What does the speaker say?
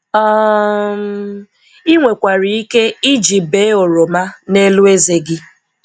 um Ị nwekwara ike iji bee oroma n'elu ezé gị.